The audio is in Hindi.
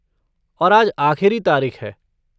और आज आख़िरी तारीख़ है।